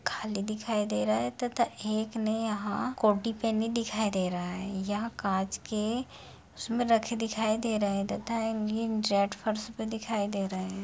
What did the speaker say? खाली दिखाई दे रहा है तथा एक ने यहाँ कोटी पेहनी दिखाई दे रहा है यहाँ कांच के इसमें रखे दिखाई दे रहे है तथा एक गिन जट फर्श पे दिखाई दे रहे हैं।